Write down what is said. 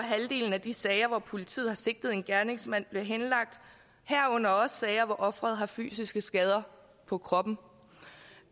halvdelen af de sager hvor politiet har sigtet en gerningsmand henlagt herunder også sager hvor offeret har fysiske skader på kroppen